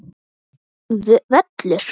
Fínn völlur.